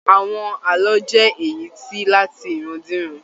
Àwọn ààlọ́ jẹ èyí tí láàti irandiran.